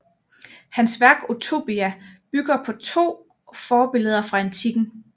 Hans værk Utopia bygger på to forbilleder fra antikken